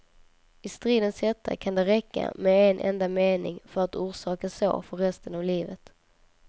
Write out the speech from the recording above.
I stridens hetta kan det räcka med en enda mening för att orsaka sår för resten av livet.